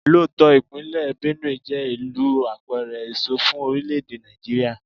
Lóòótọ́, ìpínlè Benue jẹ́ ìlú apẹ̀rẹ̀ èso fún orílè-èdè Nàìjíríà.